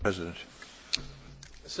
There are two questions there.